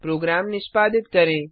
programme निष्पादित करें